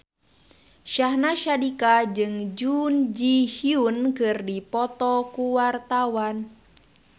Syahnaz Sadiqah jeung Jun Ji Hyun keur dipoto ku wartawan